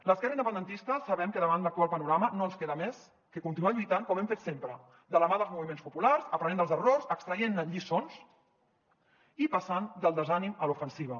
l’esquerra independentista sabem que davant l’actual panorama no ens queda més que continuar lluitant com hem fet sempre de la mà dels moviments populars aprenent dels errors extraient ne lliçons i passant del desànim a l’ofensiva